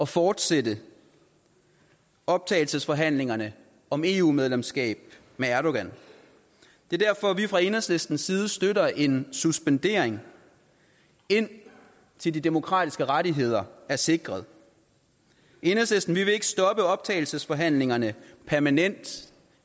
fortsætte optagelsesforhandlingerne om eu medlemskab med erdogan det er derfor vi fra enhedslistens side støtter en suspendering indtil de demokratiske rettigheder er sikret i enhedslisten vil vi ikke stoppe optagelsesforhandlingerne permanent